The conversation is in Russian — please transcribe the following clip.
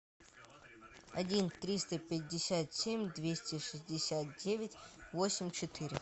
один триста пятьдесят семь двести шестьдесят девять восемь четыре